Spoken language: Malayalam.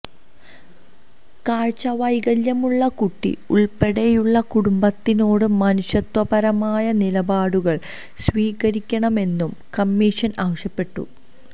കാഴ്ചാവൈകല്യമുള്ള കുട്ടി ഉള്പ്പെടെയുള്ള കുടുംബത്തിനോട് മനുഷ്യത്വപരമായ നിലപാടുകള് സ്വീകരിക്കണമെന്നും കമ്മീഷന് ആവശ്യപ്പെട്ടു